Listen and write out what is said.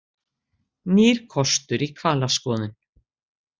Nýr kostur í hvalaskoðun